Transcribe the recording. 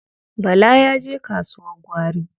Bala ya je kasuwar gwari.